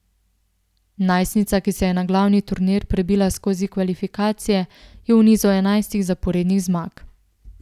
Najstnica, ki se je na glavni turnir prebila skozi kvalifikacije, je v nizu enajstih zaporednih zmag.